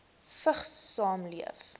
vigs saamleef